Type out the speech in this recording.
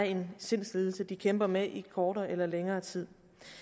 en sindslidelse de kæmper med i kortere eller længere tid